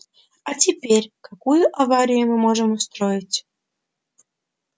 а теперь какую аварию мы можем устроить